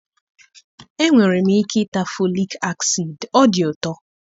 Enwere m ike ịta folic acid, ọ dị ụtọ